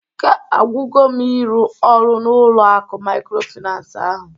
Ike agwugo m ịrụ ọrụ n'ụlọ akụ maykrofinans ahụ